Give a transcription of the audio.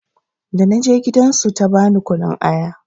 Da na je gidan su ta bani kunun aya.